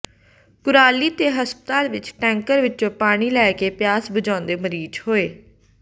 ਕੁਰਾਲੀ ਦੇ ਹਸਪਤਾਲ ਵਿਚ ਟੈਂਕਰ ਵਿਚੋਂ ਪਾਣੀ ਲੈ ਕੇ ਪਿਆਸ ਬੁਝਾਉਂਦੇ ਮਰੀਜ਼ ਹੋਏ